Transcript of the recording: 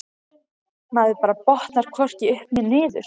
Maður bara botnar hvorki upp né niður.